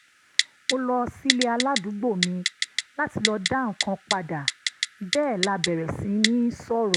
mo lọ sílé aládùúgbò mi láti lọ dá nǹkan padà bẹ́ẹ̀ la bẹ̀rẹ̀ sí ní sọ̀rọ̀